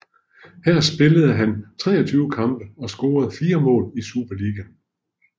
Her spillede han 23 kampe og scorede 4 mål i Superligaen